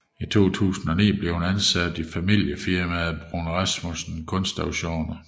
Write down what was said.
I 2009 blev hun ansat i familiefirmaet Bruun Rasmussen Kunstauktioner